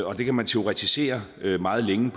og det kan man teoretisere meget længe